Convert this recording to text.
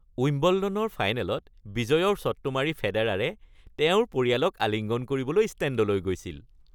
উইম্বলডনৰ ফাইনেলত বিজয়ৰ শ্বটটো মাৰি ফেডেৰাৰে তেওঁৰ পৰিয়ালক আলিঙ্গন কৰিবলৈ ষ্টেণ্ডলৈ গৈছিল।